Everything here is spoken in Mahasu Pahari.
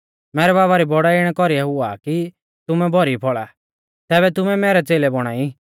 मैरै बाबा री बौड़ाई इणै कौरीऐ हुआ आ कि तुमै भौरी फौल़ा तैबै ऐ तुमै मैरै च़ेलै बौणा ई